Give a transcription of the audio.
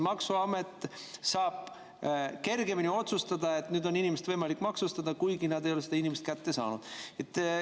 Maksuamet saab kergemini otsustada, et nüüd on inimest võimalik maksustada, kuigi nad ei ole inimest kätte saanud.